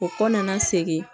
O kɔ nana segin